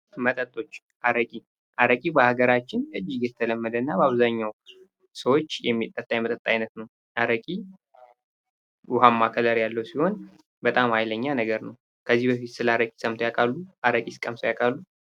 መጠጦች አረቂ አረቂ በአገራችን የተለመደ እና በአብዛኛው ሰዎች የሚጠጣ የመጠጥ ዓይነት ነው። አረቂ ውሃ ከለር ያለው በጣም ሃይለኛ ነገር ነው። ከዚህ በፊት ስለ አረቂ ሰምተው ያውቃሉ? አረቂስ ቀምሰው ያውቃሉ?